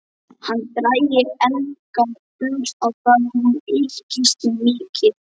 Hann drægi enga dul á það: hún ykist mikið.